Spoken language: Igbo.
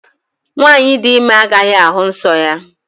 Nwaanyị di ime agaghị ahụ nsọ ya.